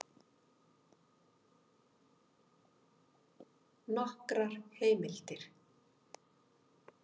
Nokkrar heimildir: